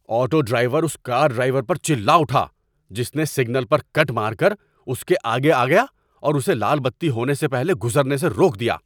Auto driver اس car driver پر چلا اٹھا جس نے سگنل پر کٹ مار کر اس کے آگے آ گیا اور اسے لال بتی ہونے سے پہلے گزرنے سے روک دیا۔